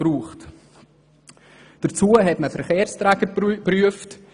Überdies wurden Verkehrsträger geprüft.